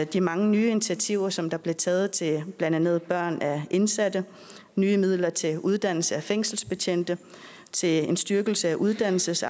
de mange nye initiativer som der blev taget til blandt andet børn af indsatte nye midler til uddannelse af fængselsbetjente og til en styrkelse af uddannelses